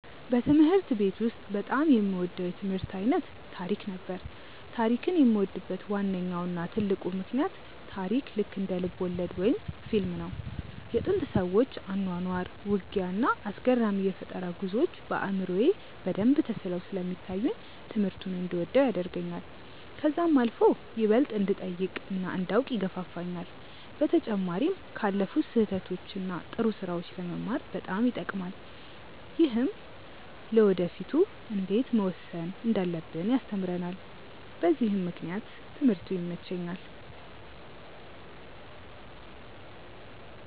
በትምህርት ቤት ውስጥ በጣም የምወደው የትምህርት አይነት ታሪክ ነበር። ታሪክን የምወድበት ዋነኛው እና ትልቁ ምክንያት ታሪክ ልክ እንደ ልብወለድ ወይም ፊልም ነው። የጥንት ሰዎች አኗኗር፣ ውጊያ፣ እና አስገራሚ የፈጠራ ጉዞዎች በአእምሮዬ በደንብ ተስለው ስለሚታዩኝ ትምህርቱን እንድወደው ያደርገኛል። ከዛም አልፎ ይበልጥ እንድጠይቅ እና እንዳውቅ ይገፋፋኛል። በተጨማሪም ካለፉት ስህተቶች እና ጥሩ ስራዎች ለመማር በጣም ይጠቅማል። ይህም ለወደፊ እንዴት መወሰን እንዳለብን ያስተምረናል በዚህም ምክንያት ትምህርቱ ይመቸኛል።